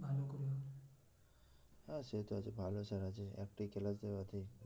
হ্যাঁ সে তো আছে ভালো স্যার আছে একটাই class নেয় ওতেই